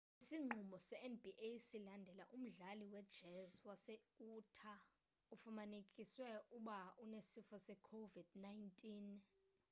isinqumo se-nba silandela umdlali we-jazz wase-utah ofumanekiswe uba unesifo se-covid-19